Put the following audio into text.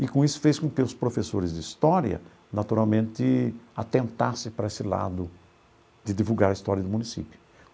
E com isso fez com que os professores de história naturalmente atentasse para esse lado de divulgar a história do município.